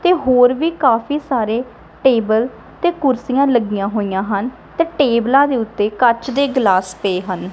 ਤੇ ਹੋਰ ਵੀ ਕਾਫੀ ਸਾਰੇ ਟੇਬਲ ਤੇ ਕੁਰਸੀਆਂ ਲੱਗੀਆਂ ਹੋਈਆਂ ਹਨ ਤੇ ਟੇਬਲਾਂ ਦੇ ਉੱਤੇ ਕੱਚ ਦੇ ਗਲਾਸ ਪਏ ਹਨ।